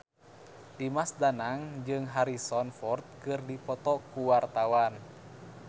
Dimas Danang jeung Harrison Ford keur dipoto ku wartawan